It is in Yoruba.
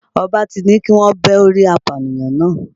Ọba ti ní kíwọ́n bẹ́ orí apànìyàn náà.